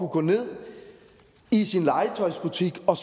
gå ned i sin legetøjsbutik og